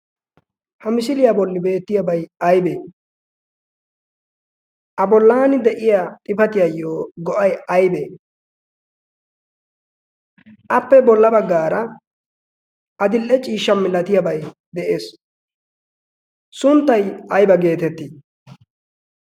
ha misiiliyaa bolli beettiyaabai aibee a bolaani de'iya xifatiyaayyo go'ay aybee appe bolla baggaara a dil'e ciishsha milatiyaabay de'ees sunttay ayba geetettii?